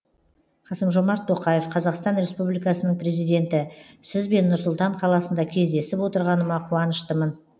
қасым жомарт тоқаев қазақстан республикасының президенті сізбен нұр сұлтан қаласында кездесіп отырғаныма қуаныштымын